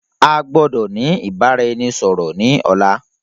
A gbọ́dọ̀ ni ìbáraẹnisọọ̀rọ̀ ni ọ̀la.